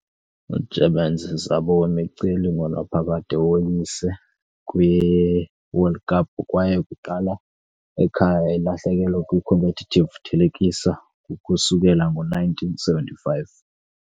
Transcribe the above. Germans - zabo wemiceli ngonaphakade woyise kwiWorld Cup kwaye kuqala ekhaya ilahlekelo kwi-competitive thelekisa ukusukela ngo-1975.